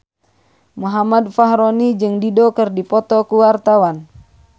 Muhammad Fachroni jeung Dido keur dipoto ku wartawan